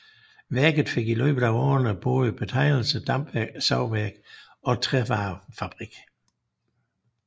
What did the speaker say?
Værket fik i løbet af årene både betegnelserne dampsavværk og trævarefabrik